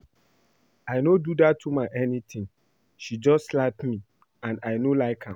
I no do dat woman anything she just slap me and I no like am